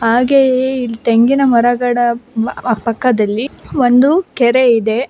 ಹಾಗೆಯೇ ಈ ತೆಂಗಿನಮರದ ಅ ಪಕ್ಕದಲ್ಲಿ ಒಂದು ಕೆರೆ ಇದೆ.